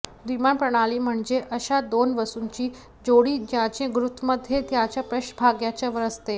द्विमान प्रणाली म्हणजे अशा दोन वस्तूंची जोडी ज्यांचे गुरुत्वमध्य त्यांच्या पृष्ठभागाच्या वर असते